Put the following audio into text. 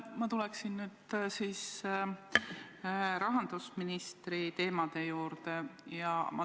Ma tulen nüüd siis rahandusministri teemade juurde.